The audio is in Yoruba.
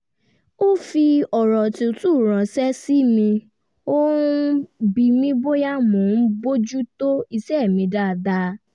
ó fi ọ̀rọ̀ tútù ránṣẹ́ sí mi ó ń bi mi bóyá mo ń bójú tó iṣẹ́ mi dáadáa